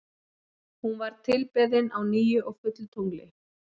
Hún var tilbeðin á nýju og fullu tungli.